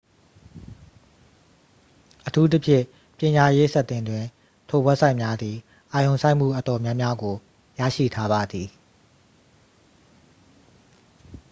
အထူးသဖြင့် ပညာရေးဆက်တင်တွင် ထိုဝဘ်ဆိုက်များသည် အာရုံစိုက်မှုအတော်များများကို ရရှိထားပါသည်